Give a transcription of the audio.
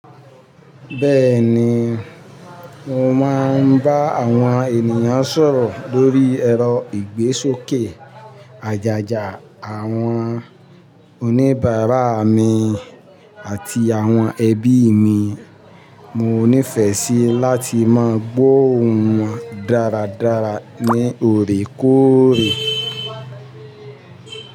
Bẹ́ẹ̀ni, mo máa ń bá àwọn ènìyàn sọ̀rọ̀ lórí ẹ̀rọ ìgbésókè àjájá. Àwọn oníbàárà mi àti àwọn ẹbí mi, mo nífẹ̀ẹ́ sí láti mọ gbóòún wọn dáradára ní òrékóòrè.